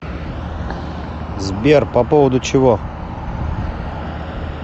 сбер по поводу чего